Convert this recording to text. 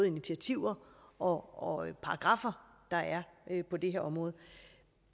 initiativer og paragraffer der er på det her område